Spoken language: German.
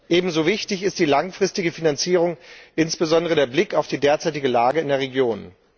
Ebenso wichtig ist die langfristige Finanzierung, insbesondere mit Blick auf die derzeitige Lage in der Region.